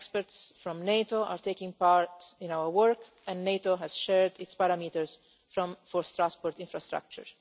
experts from NATO are taking part in our work, and NATO has shared its parameters for transport infrastructure.